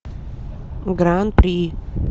гран при